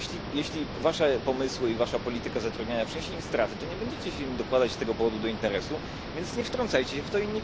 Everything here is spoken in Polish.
Jeśli Wasze pomysły i Wasza polityka zatrudniania przyniesie im straty, to nie będziecie się im dokładać z tego powodu do interesu, więc nie wtrącajcie się w to.